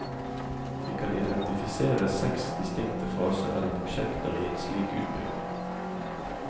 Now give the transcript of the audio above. Vi kan identifisere seks distinkte faser eller prosjekter i en slik utbygging.